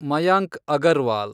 Mayank Agarwal